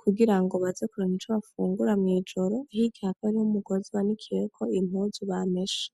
kugira ngo bazekuronka ico bafungura mw'ijoro, hirya hakaba hari umugozi banikiyeko impuzu bameshe.